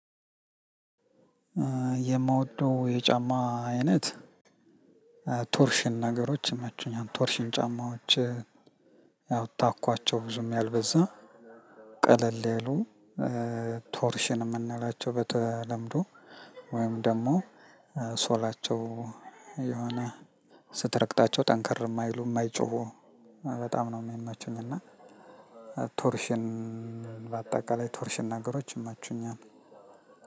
የምወደው የጫማ አይነት ቶርሽን ነገሮች ይመቹኛል ቶርሽን ጫማዎች። ያው ታኳቸው ብዙም ያልበዛ ቀለል ያሉ ቶርሽን የምንላቸው በተለምዶ ወይም ደግሞ ሶላቸው። የሆነ ስትረግጣቸው ጠንከር የማይሉ የማይጮሁ በጣም ነው የምመቹኝ። እና ቶርሽን በአጠቃላይ ቶርሽን ነገሮች ይመቹኛል።